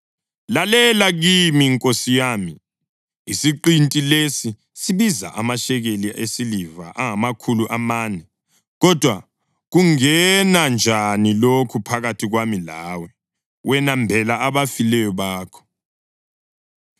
“Lalela kimi, nkosi yami; isiqinti lesi sibiza amashekeli esiliva angamakhulu amane, kodwa kungena njani lokho phakathi kwami lawe? Wena mbela abafileyo bakho.”